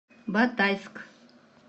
батайск